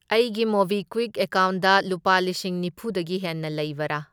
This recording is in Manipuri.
ꯑꯩꯒꯤ ꯃꯣꯕꯤꯀ꯭ꯋꯤꯛ ꯑꯦꯀꯥꯎꯟꯗ ꯂꯨꯄꯥ ꯂꯤꯁꯤꯡ ꯅꯤꯐꯨꯗꯒꯤ ꯍꯦꯟꯅ ꯂꯩꯕꯔꯥ?